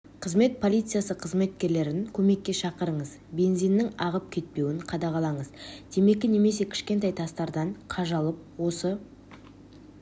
қызмет полиция қызметкерлерін көмекке шақырыңыз бензиннің ағып кетпеуін қадағалаңыз темекі немесе кішкентай тастардан қажалып осы